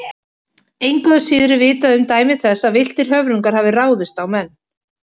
Engu að síður er vitað um dæmi þess að villtir höfrungar hafi ráðist á menn.